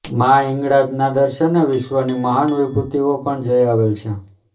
માં હિંગળાજના દર્શને વિશ્વની મહાન વિભૂતિઓ પણ જઈ આવેલ છે